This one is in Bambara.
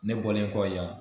Ne bɔlen kɔ yan